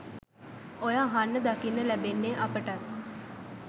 ඔය අහන්න දකින්න ලැබෙන්නේ අපටත්.